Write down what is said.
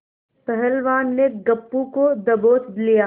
पहलवान ने गप्पू को दबोच लिया